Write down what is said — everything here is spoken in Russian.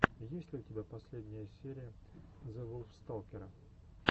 есть ли у тебя последняя серия зэвулфсталкера